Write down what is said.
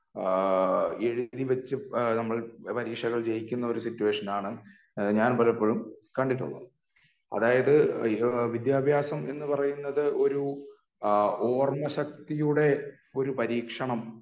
ആഹ് എഴുതി വെച്ച് നമ്മൾ പരീക്ഷകൾ ജയിക്കുന്ന ഒരു സിറ്റുവേഷൻ ആണ് ഞാൻ പലപ്പോഴും കണ്ടിട്ടുള്ളത് അതായത് വിദ്യാഭ്യാസം എന്ന് പറയുന്നത് ഒരു അഹ് ഓർമ്മ ശക്തിയുടെ ഒരു പരീക്ഷണം